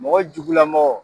Mɔgɔ jugu lamɔgɔ.